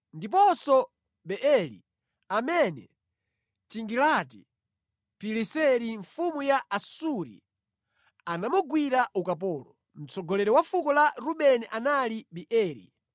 ndiponso Beeri, amene Tigilati-Pileseri mfumu ya Asuri anamugwira ukapolo. Mtsogoleri wa fuko la Rubeni anali Beeri.